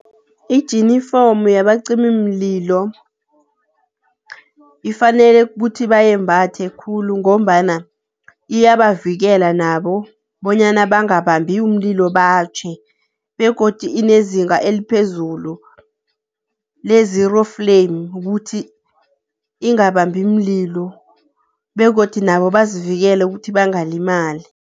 Ijinifomu yabacimimlilo ifanele kuthi bayembhathe khulu ngombana iyabavikela nabo bonyana bangabambi umlilo batjhe. Begodu inezingeni eliphezulu le-zero flame, ukuthi ingabambi mlilo, begodu nabo bazivikele ukuthi bangalimali.